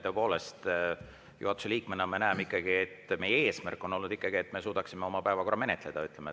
Tõepoolest, juhatuse liikmena ma näen ikkagi, et meie eesmärk on olnud see, et me suudaksime oma päevakorra ära menetleda.